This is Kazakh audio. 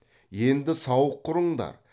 енді сауық құрыңдар